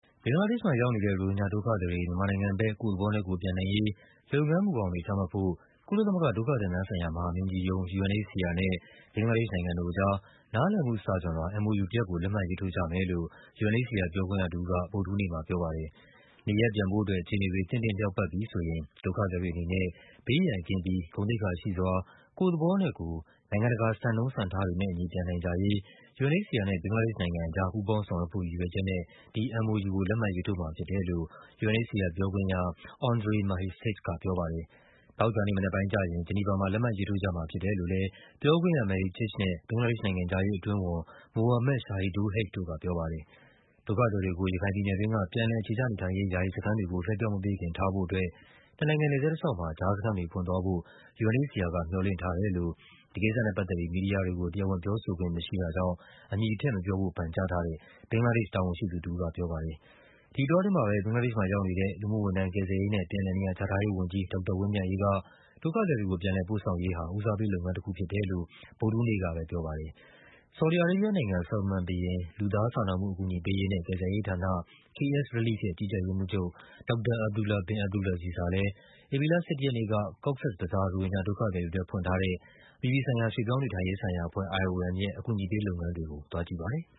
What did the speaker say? ဘင်္ဂလားဒေ့ရှ်မှာရောက်နေတဲ့ ရိုဟင်ဂျာဒုက္ခသည်တွေ မြန်မာနိုင်ငံဘက် ကိုယ့်သဘောနဲ့ကိုယ်ပြန်နိုင်ရေး လုပ်ငန်းမူဘောင်တွေ ချမှတ်ဖို့ ကုလသမဂ္ဂ ဒုက္ခသည်များဆိုင်ရာ မဟာမင်းကြီးရုံး UNHCR နဲ့ ဘင်္ဂလားဒေ့ရှ်နိုင်ငံအကြား နားလည်မှုစာချွန်လွှာ MoU တရပ်ကို လက်မှတ်ရေးထိုးကြမယ်လို့ UNHCR ပြောခွင့်ရတဦးက ဗုဒ္ဓဟူးနေ့မှာပြောပါတယ်။ “နေရပ်ပြန်ဖို့အတွက် အခြေအနေတွေ သင့်တင့်လျောက်ပတ်ပြီဆိုရင် ဒုက္ခသည်တွေအနေနဲ့ ဘေးရန်ကင်းပြီး ဂုဏ်သိက္ခာရှိစွာ ကိုယ့်သဘောနဲ့ကိုယ် နိုင်ငံတကာစံနှုန်းစံံထားတွေနဲ့အညီ ပြန်နိုင်ကြရေး” UNHCR နဲ့ ဘင်္ဂလားဒေ့ရှ်နိုင်ငံအကြား ပူးပေါင်း ဆောင်ရွက်ဖို့ရည်ရွယ်ချက်နဲ့ ဒီ MoU ကို လက်မှတ်ရေးထိုးမှာဖြစ်တယ်လို့ UNHCR ပြောခွင့်ရ Andrej Mahecic က ပြောပါတယ်။ သောကြာနေ့မနက်ပိုင်းကျရင် ဂျီနီဗာမှာ လက်မှတ်ရေးထိုးကြမှာဖြစ်တယ်လို့လည်း ပြောခွင့်ရ Mehcic နဲ့ ဘင်္ဂလား ဒေ့ရှ် နိုင်ငံခြားရေးအတွင်းဝန် Mohammad Shahidul Haque တို့ကပြောပါတယ်။ ဒုက္ခသည်တွေကို ရခိုင်ပြည်နယ်တွင်းက ပြန်လည်အခြေချနေထိုင်ရေး ယာယီစခန်းတွေကို လွှဲပြောင်းမပေးခင် ထားဖို့အတွက် နှစ်နိုင်ငံနယ်စပ်တလျှောက်မှာ ကြားစခန်းတွေဖွင့်သွားဖို့ UNHCR က မျှော်လင့်ထားတယ်လို့ ဒီကိစ္စနဲ့ပတ်သက်ပြီး မီဒီယာတွေကို တရားဝင်ပြောဆိုခွင့်မရှိတဲ့အတွက် အမည်ထည့်မပြောဖို့ ပန်ကြားထားတဲ့ ဘင်္ဂလားဒေ့ရှ်တာဝန်ရှိသူတဦးက ပြောပါတယ်။ ဒီအတောအတွင်းမှာပဲ ဘင်္ဂလားဒေ့ရှ်မှာရောက်နေတဲ့ လူမှုဝန်ထမ်း၊ ကယ်ဆယ်ရေးနဲ့ ပြန်လည်နေရာချထားရေးဝန်ကြီး ဒေါက်တာဝင်းမြတ်အေးက ဒုက္ခသည်တွေကို ပြန်လည်ပို့ဆောင်ရေးဟာ ဦးစားပေးလုပ်ငန်းတခုဖြစ်တယ်လို့ ဗုဒ္ဓဟူးနေ့ကပဲ ပြော ပါတယ်။ ဆော်ဒီအာရေးဘီးယားနိုင်ငံ၊ Salman ဘုရင် လူသားစာနာမှုအကူအညီပေးရေးနဲ့ ကယ်ဆယ်ရေးဌာန KSrelief ရဲ့ ကြီးကြပ်ရေး မှူးချုပ် ဒေါက်တာ Abdullah bin Abdulaziz ဟာလည်း ဧပြီလ ၁၁ ရက်နေ့က Cox’s Bazar ရိုဟင်ဂျာဒုက္ခသည်တွေအတွက် ဖွင့်ထားတဲ့ အပြည်ပြည်ဆိုင်ရာ ရွှေ့ပြောင်းနေထိုင်ရေးဆိုင်ရာအဖွဲ့ IOM ရဲ့ အကူအညီပေးလုပ်ငန်းတွေကို သွားကြည့်ပါတယ်။